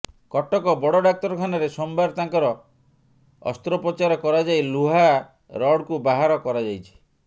କଟକ ବଡ଼ ଡାକ୍ତରଖାନାରେ ସୋମବାର ତାଙ୍କର ଅସ୍ତ୍ରୋପଚାର କରାଯାଇ ଲୁହା ରଡ୍କୁ ବାହାର କରାଯାଇଛି